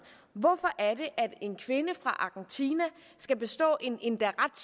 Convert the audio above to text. hvorfor en kvinde fra argentina skal bestå en endda ret